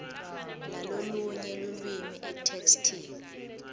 lalolunye lulwimi etheksthini